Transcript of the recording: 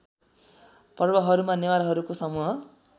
पर्वहरूमा नेवारहरूको समूह